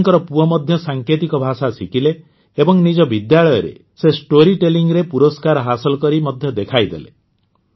ପୂଜାଙ୍କ ପୁଅ ମଧ୍ୟ ସାଙ୍କେତିକ ଭାଷା ଶିଖିଲେ ଏବଂ ନିଜ ବିଦ୍ୟାଳୟରେ ସେ ଷ୍ଟୋରୀ ଟେଲିଂରେ ପୁରସ୍କାର ହାସଲ କରି ମଧ୍ୟ ଦେଖାଇଦେଲେ